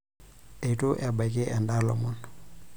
Eitu ebaiki endaa ilomon.